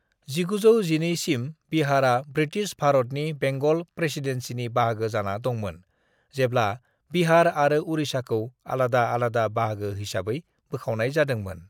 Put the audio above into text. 1912 सिम बिहारा ब्रिटिश भारत नि बेंगल प्रेसीडेंसीनि बाहागो जाना दंमोन जेब्ला बिहार आऱो उड़ीसाखौ आलादा आलादा बाहागो हिसाबै बोखावनाय जादोंमोन।